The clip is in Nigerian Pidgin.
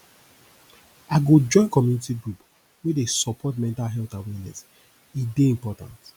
i go join community group wey dey support mental health awareness e dey important